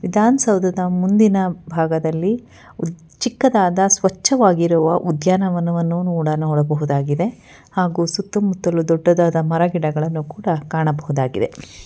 ವಿಧಾನ್ಸೌಧದ ಮುಂದಿನ ಭಾಗದಲ್ಲಿ ಚಿಕ್ಕದಾದ ಸ್ವಚ್ಛವಾಗಿರುವ ಉದ್ಯಾನವನವನ್ನು ನೋಡ ನೋಡಬಹುದಾಗಿದೆ ಹಾಗು ಸುತ್ತಮುತ್ತಲು ದೊಡ್ಡದಾದ ಮರಗಿಡಗಳನ್ನು ಕೂಡ ಕಾಣಬಹುದಾಗಿದೆ.